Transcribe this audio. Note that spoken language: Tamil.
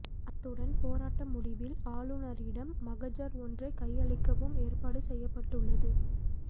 அத்துடன் போராட்ட முடிவில் ஆளுநரிடம் மகஜர் ஒன்றை கையளிக்கவும் ஏற்பாடு செய்யப்பட்டுள்ளது